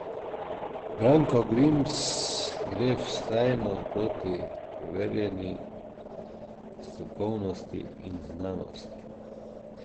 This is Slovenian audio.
Branko Grims gre vztrajno proti preverjeni strokovnosti in znanosti.